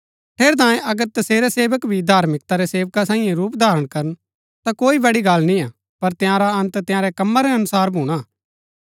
ठेरैतांये अगर तसेरै सेवक भी धार्मिकता रै सेवका सांईये रूप धारण करन ता कोई बड़ी गल्ल निय्आ पर तंयारा अन्त तंयारै कम्मा रै अनुसार भूणा